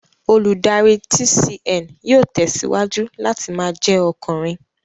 Olùdarí TCN yóò tẹ̀síwájú láti ma jẹ́ ọkùnrin